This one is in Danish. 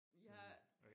jeg